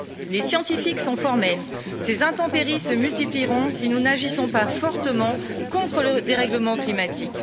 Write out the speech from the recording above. Les scientifiques sont formels ces intempéries se multiplieront, si nous n'agissons pas fortement contre le dérèglement climatique.